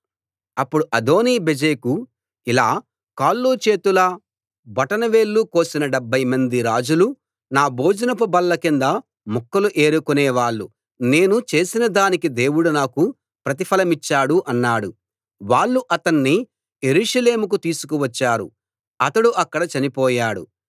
అప్పుడు అదోనీ బెజెకు ఇలా కాళ్లు చేతుల బొటన వేళ్ళు కోసిన డెభ్భైమంది రాజులు నా భోజనపు బల్ల కింద ముక్కలు ఏరుకోనేవాళ్ళు నేను చేసినదానికి దేవుడు నాకు ప్రతిఫలమిచ్చాడు అన్నాడు వాళ్ళు అతణ్ణి యెరూషలేముకు తీసుకొచ్చారు అతడు అక్కడ చనిపోయాడు